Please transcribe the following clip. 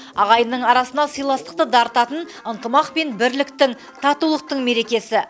ағайынның арасына сыйластықты дарытатын ынтымақ пен бірліктің татулықтың мерекесі